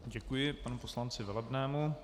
Děkuji panu poslanci Velebnému.